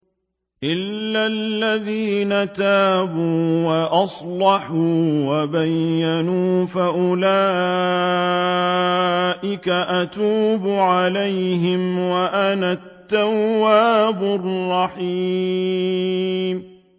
إِلَّا الَّذِينَ تَابُوا وَأَصْلَحُوا وَبَيَّنُوا فَأُولَٰئِكَ أَتُوبُ عَلَيْهِمْ ۚ وَأَنَا التَّوَّابُ الرَّحِيمُ